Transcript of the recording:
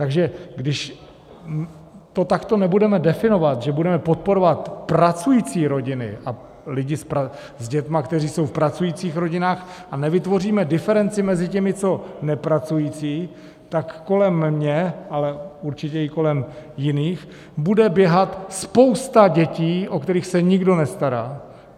Takže když to takto nebudeme definovat, že budeme podporovat pracující rodiny a lidi s dětmi, kteří jsou v pracujících rodinách, a nevytvoříme diferenci mezi těmi, co nepracují, tak kolem mě, ale určitě i kolem jiných, bude běhat spousta dětí, o které se nikdo nestará.